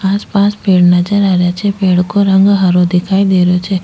आस पास पेड़ नजर आ रिया छे पेड़ को रंग हरो दिखाई दे रहियो छे।